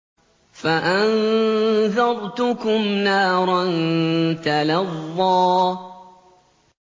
فَأَنذَرْتُكُمْ نَارًا تَلَظَّىٰ